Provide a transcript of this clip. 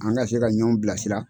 An ka se ka ɲɔn bilasira.